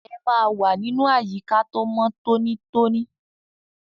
Ẹ máa wà nínú àyíká tó mọ́ tóní tóní!